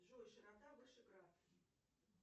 джой широта вышеград